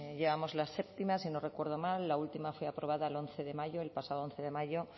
llevamos la séptima si no recuerdo mal la última fue aprobada el once de mayo el pasado once de mayo